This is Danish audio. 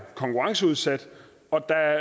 konkurrenceudsat og der